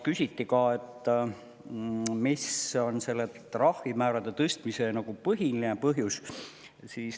Küsiti ka, mis on trahvimäärade tõstmise põhiline põhjus.